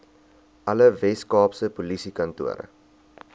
alle weskaapse polisiekantore